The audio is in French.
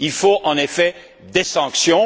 Il faut, en effet, des sanctions